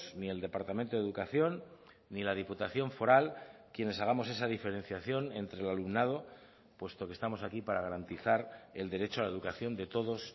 ni el departamento de educación ni la diputación foral quienes hagamos esa diferenciación entre el alumnado puesto que estamos aquí para garantizar el derecho a la educación de todos